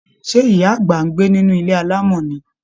Ṣé, ìyá àgbà ń gbé nínú ilé alamo ni?